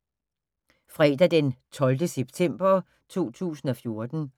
Fredag d. 12. september 2014